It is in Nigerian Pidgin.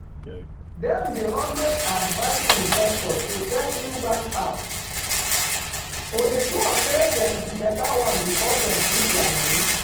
dem dey always advice investors to check new bank app to dey sure say dem be better one before dem put their money.